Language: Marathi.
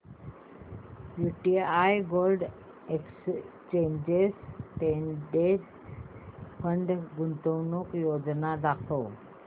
UTI gold exchange traded fund गुंतवणूक योजना दाखव